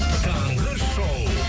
таңғы шоу